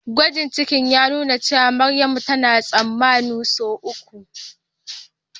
gwajin ciki ya nuna cewa Maryamu tana tsammanin sau uku